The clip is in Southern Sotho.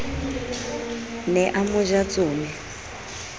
ne a mo ja tsome